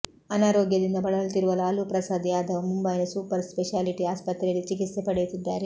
ಅನಾರೋಗ್ಯದಿಂದ ಬಳಲುತ್ತಿರುವ ಲಾಲ್ ಪ್ರಸಾದ್ ಯಾದವ್ ಮುಂಬೈನ ಸೂಪರ್ ಸ್ಪೆಷಾಲಿಟಿ ಆಸ್ಪತ್ರೆಯಲ್ಲಿ ಚಿಕಿತ್ಸೆ ಪಡೆಯುತ್ತಿದ್ದಾರೆ